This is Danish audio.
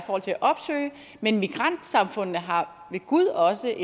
opsøge men migrantsamfundene har ved gud også